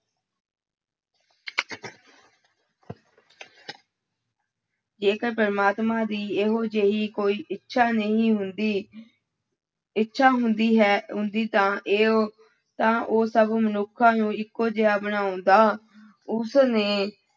ਜੇਕਰ ਪ੍ਰਮਾਤਮਾ ਦੀ ਇਹੋ ਜਿਹੀ ਕੋਈ ਇੱਛਾ ਨਹੀਂ ਹੁੰਦੀ ਇੱਛਾ ਹੁੰਦੀ ਹੈ, ਹੁੰਦੀ ਤਾਂ ਇਹ ਤਾਂ ਉਹ ਸਭ ਮਨੁੱਖਾਂ ਨੂੰ ਇੱਕੋ ਜਿਹਾ ਬਣਾਉਂਦਾ, ਉਸ ਨੇ